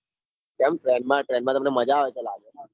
કેમ train મા train મા તમને મજા આવે છે લાગ.